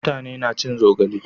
mutane na cin zogale